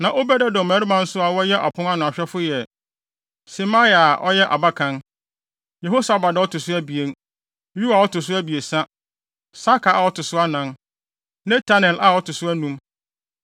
Na Obed-Edom mmabarima nso a wɔyɛ apon ano ahwɛfo yɛ: Semaia a ɔyɛ abakan, Yehosabad a ɔto so abien, Yoa a ɔto so abiɛsa, Sakar a ɔto so anan, Netanel a ɔto so anum,